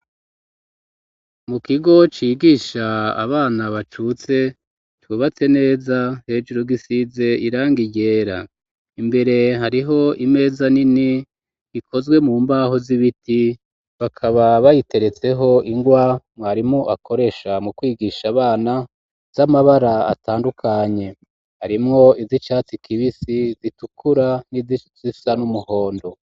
Mu kigo cigisha abana bacutse cubatse neza hejuru gisize irangi ryera imbere hariho imeza nini ikozwe mu mbaho z'ibiti bakaba bayiteretseho ingwa mwarimu akoresha mu kwigisha abana z'amabara atandukanye harimwo izi catsi kibisi zi tukura n'izisisa n'umuhondo